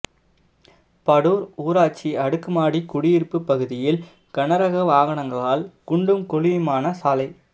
படூர் ஊராட்சி அடுக்குமாடி குடியிருப்பு பகுதியில் கனரக வாகனங்களால் குண்டும் குழியுமான சாலை